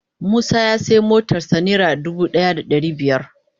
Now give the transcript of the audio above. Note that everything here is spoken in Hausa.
Musa ya siya motar sa naira dubu daya da dari biyar.